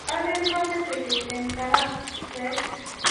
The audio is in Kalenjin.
alen kamete kiy eng daraset